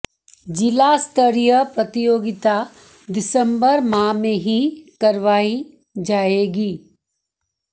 जिला स्तरीय प्रतियोगिता दिसम्बर माह में ही करवाई जाएगी